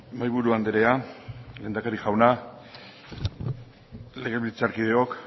mahaiburu andrea lehendakari jauna legebiltzarkideok